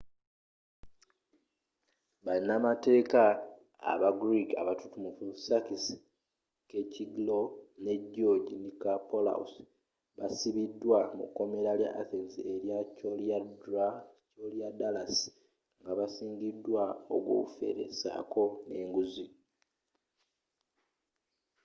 banamateeeka aba greek abatutumufu sakis kechagioglou ne george nikolakopoulos baasibiddwa mu komera lya athens erya koryadallus nga basingiddwa ogw'obufere saako n'enguzi